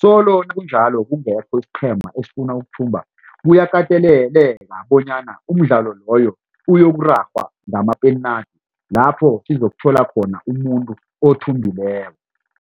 solo nakunjalo kungekho isiqhema esifuna ukuthumba kuyakateleleka bonyana umdlalo loyo uyokuragwa ngama-penalty lapho sizokuthola khona umuntu othumbileko.